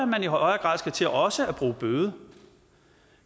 man i højere grad skal til også at bruge bøde